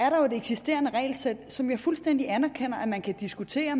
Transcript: jo et eksisterende regelsæt som jeg fuldstændig anerkender at man kan diskutere